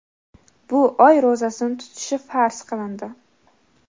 bu oy ro‘zasini tutishi farz qilindi.